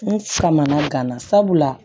N kamana gana sabula